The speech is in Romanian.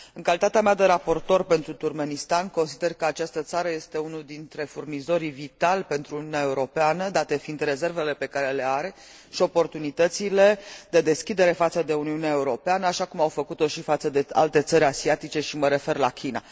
În calitatea mea de raportor pentru Turkmenistan, consider că această țară este unul dintre furnizorii vitali pentru Uniunea Europeană, date fiind rezervele pe care le are și oportunitățile de deschidere față de Uniunea Europeană, așa cum au făcut o și față de alte țări asiatice, și mă refer la China.